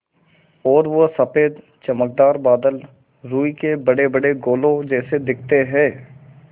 और वो सफ़ेद चमकदार बादल रूई के बड़ेबड़े गोलों जैसे दिखते हैं